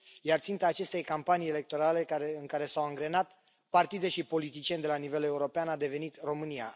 Iar ținta acestei campanii electorale, în care s au angrenat partide și politicieni de la nivel european, a devenit România.